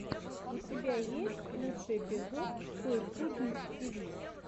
у тебя есть лучший эпизод той пудинг ти ви